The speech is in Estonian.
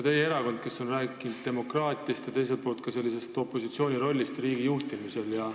Teie erakond on ikka rääkinud demokraatiast ja ka opositsiooni rollist riigi juhtimisel.